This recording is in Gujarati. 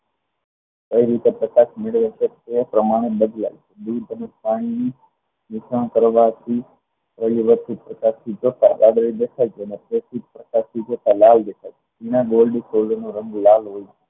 કઈ રીતે પતાક્ષ મેળવે છે એ રીતે એ પ્રમાણ બદલાય દૂધ અને ખાંડની મિશ્રણ કરવાથી એની વધતી જતા એના gold નો રંગ લાલ હોય છે